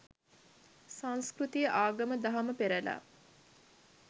සංස්කෘතිය ආගම දහම පෙරළා